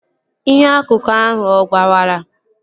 Inyo akụkụ ahụ ọ gbawara?